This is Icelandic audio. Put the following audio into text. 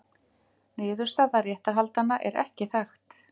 Niðurstaða réttarhaldanna er ekki þekkt.